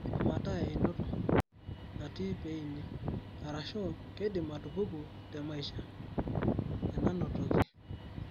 Keidim ataa eneinoto.(natii peeini) arashuu keidim atupuku temaisha (enanotoki)